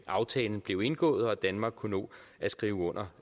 aftalen blev indgået og danmark kunne nå at skrive under